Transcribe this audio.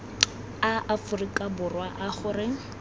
a aforika borwa a gore